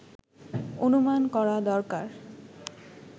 অনুমান করা দরকার